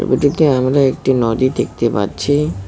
ছবিটিতে আমরা একটি নদী দেখতে পাচ্ছি।